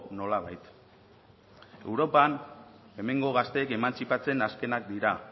nolabait europan hemengo gazteek emantzipatzen azkenak dira